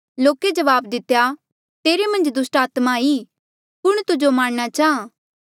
लोके जवाब दितेया तेरे मन्झ दुस्टात्मा ई कुण तुजो मारणा चाहां